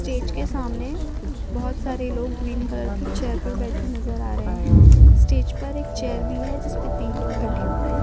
Stage के सामने बहुत सारे लोग ग्रीन कलर की चेयर पर बैठे नज़र आ रहे है। स्टेज पर एक चेयर भी है जिसपे तीन लोग बैठे हुए है।